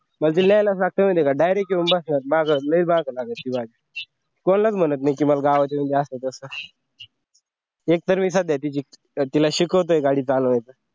मग ती अशी आहे ना direct येऊन बसणार माग लागते माझ्या कोणालाच म्हणतनाही मला गावात घेऊन जा असं तसं एकतर मी सध्या तिची तर तिला शिकवतोय गाडी चालवायला